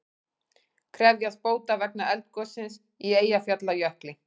Krefjast bóta vegna eldgossins í Eyjafjallajökli